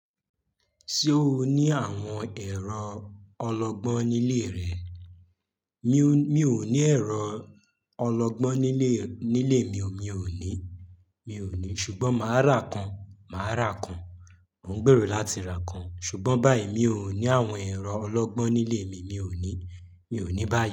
Ṣé o ní àwọn ẹ̀rọ ọlọ́gbọ́n nílé rẹ? Mi ò ní ẹ̀rọ ọlọ́gbọ́n nílé, nílé mi ò ní, mi ò ní ṣùgbọ́n màá rà kan, màá rà kan. Mo ń gbèrò láti ra kan ṣùgbọ́n báyìí mi ò ní àwọn ẹ̀rọ ọlọ́gbọ́n nílé mi, mi ò ní, mi ò ní báyìí.